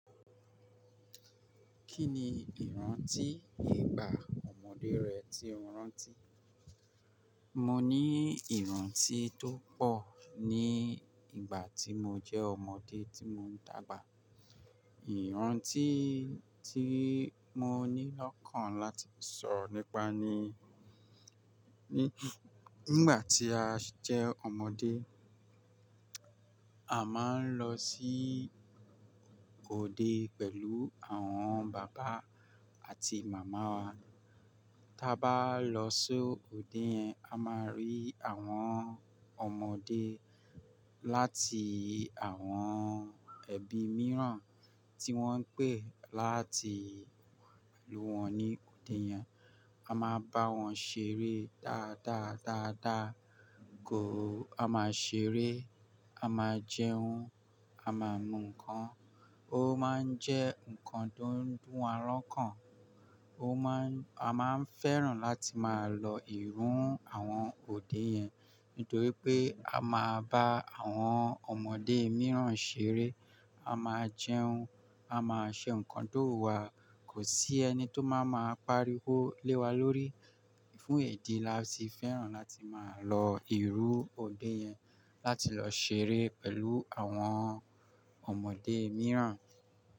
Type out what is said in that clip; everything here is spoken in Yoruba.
Kí ni ìrántí ìgbà ọmọdé rẹ tí o rántí? Mo ní ìrántí tó pọ̀ ní ìgbà tí mo jẹ́ ọmọdé tí mo ń dàgbà. Ìrántí tí mo ní lọ́kàn láti sọro nípa ni, nígbà tí a jẹ́ ọmọdé, a máa ń lọ sí òde pẹ̀lú àwọn bàbá àti màmá wa. Tí a bá lọ sí òde yẹn, a máa rí àwọn ọmọdé láti àwọn ẹbí mìíràn tí wọ́n ń pè láti wá pẹ̀lú wọn ní òde yẹn. A máa bá wọn ṣeré dáadáa, dáadáa gan-an. A máa ṣeré, a máa jẹun, a máa nu ǹkan. Ó máa ń jẹ́ nǹkan tó ń dún ará ọkàn. Ó máa ń-- a máa ń fẹ́ràn láti máa lọ ìrù àwọn òde yẹn nítorí pé a máa bá àwọn ọmọdé mìíràn ṣeré, a máa jẹun, a máa ṣe nǹkan tó wu wà. Kò sí ẹni tó máa máa pariwo lé wa lórí. Fún èyí ni a se fẹ́ràn láti máa lọ ìrù òde yẹn láti lọ ṣeré pẹ̀lú àwọn ọmọdé mìíràn.